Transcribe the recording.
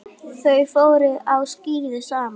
Þau fóru á skíði saman.